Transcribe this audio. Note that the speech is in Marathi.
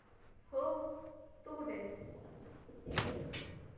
हो तू कुठे आहेस?